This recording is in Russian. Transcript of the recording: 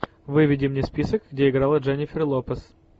выведи мне список где играла дженнифер лопес